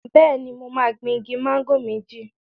Bẹ́ẹ̀ni, mo máa gbin igi máńgò méjì.